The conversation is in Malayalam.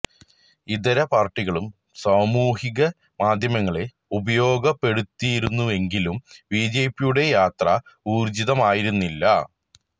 ഇതര പാര്ട്ടികളും സാമൂഹിക മാധ്യമങ്ങളെ ഉപയോഗപ്പെടുത്തിയിരുന്നുവെങ്കിലും ബി ജെ പിയുടെയത്ര ഊര്ജിതമായിരുന്നില്ല